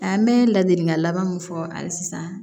A bɛ ladilikan laban min fɔ hali sisan